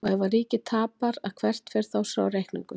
Og ef að ríkið tapar að hvert fer þá sá reikningur?